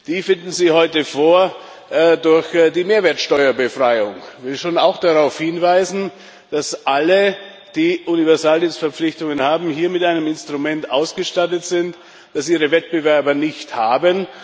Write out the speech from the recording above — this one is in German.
Die finden sie heute durch die Mehrwertsteuerbefreiung vor. Ich will auch darauf hinweisen, dass alle, die Universaldienstverpflichtungen haben, hier mit einem Instrument ausgestattet sind, das ihre Wettbewerber nicht haben.